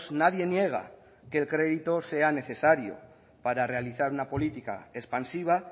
nadie niega que el crédito sea necesario para realizar una política expansiva